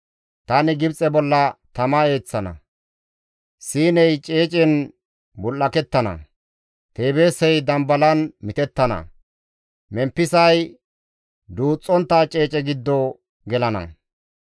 Tani Gibxe bolla tama eeththana; Siiney ceecen bul7akettana; Teebeesey dambalan mitettana; Memppisay duuxxontta ceece giddo gelana.